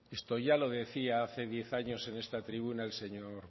esto ya lo decía hace diez años en esta tribuna el señor